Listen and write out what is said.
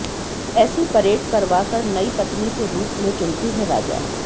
ऐसी परेड करवाकर नई पत्नी के रूप में चुनते हैं राजा